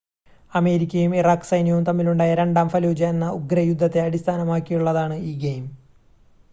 അമേരിക്കയും ഇറാഖ് സൈന്യവും തമ്മിൽ ഉണ്ടായ രണ്ടാം ഫലൂജ എന്ന ഉഗ്ര യുദ്ധത്തെ അടിസ്ഥാനമാക്കിയുള്ളതാണ് ഈ ഗെയിം